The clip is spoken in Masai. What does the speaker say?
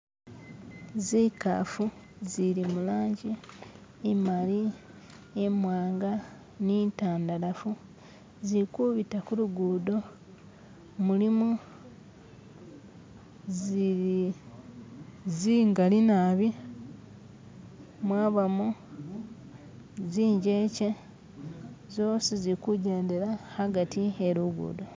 zikafu zili mulanji imali imwanga ni intandalafu zili kubita kulugudo mulimo zingali naabi mwabamo zinjeche zosi zili kujendela agati helugudo